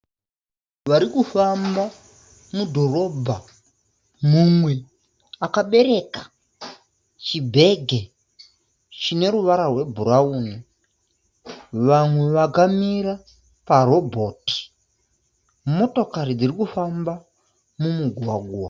Varikufamba mudhorobha. Mumwe akabereka chibhege chine ruvara rwe bhurauni. Vamwe vakamira pa robhoti. Motokari dzirikufamba mumugwagwa.